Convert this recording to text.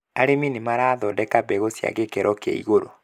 Arĩmi nĩmarathondeka mbegũ cia gĩkĩro kia igũru